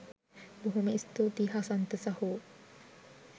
බොහොම ස්තූතියි හසන්ත සහෝ